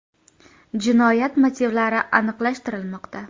Jinoyat motivlari aniqlashtirilmoqda.